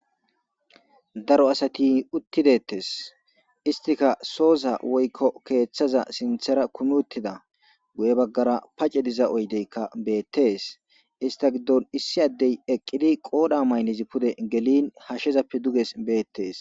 Daro asati utti detees issitika soni woyko keeththaza sintshara kumi uttida. Guyye baggara paaca diza oyddayika be'etees. He issa giddon issi addey eqqidi qooda maraynizi appe pudera galiin hashezeden pudugee be'etees.